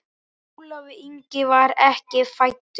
Ólafur Ingi var ekki fæddur.